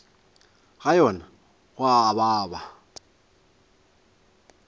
ga yona go a baba